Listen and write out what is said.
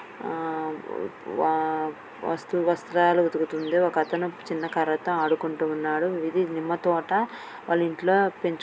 ఆ-ఆ వా-వా వస్తు వస్త్రాలు ఉతుకుతుంది ఒకతను చిన్న కర్రతో ఆడుకుంటూ ఉన్నాడు ఇది నిమ్మతోట వాళ్ళింట్ల పెంచు --